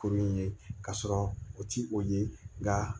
Kuru in ye k'a sɔrɔ o ti o ye nka